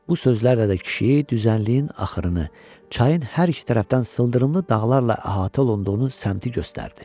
Bu sözlərlə də kişi düzənliyin axırını, çayın hər iki tərəfdən sıldırımlı dağlarla əhatə olunduğunu səmtinə göstərdi.